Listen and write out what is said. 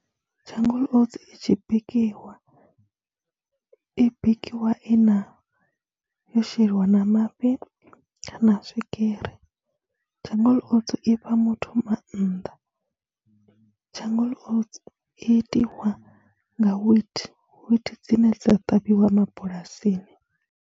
Jungle Oats i tshi bikiwa, i bikiwa i na, yo sheliwa na mafhi kana swigiri, Jungle Oats i fha muthu maanḓa, Jungle Oats i itiwa nga wheat, wheat dzine dza ṱavhiwa mabulasini.